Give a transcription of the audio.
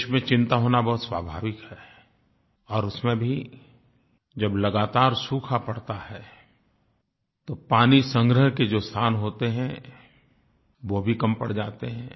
देश में चिंता होना बहुत स्वाभाविक है और उसमें भी जब लगातार सूखा पड़ता है तो पानीसंग्रह के जो स्थान होते हैं वो भी कम पड़ जाते हैं